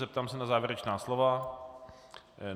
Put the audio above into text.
Zeptám se na závěrečná slova.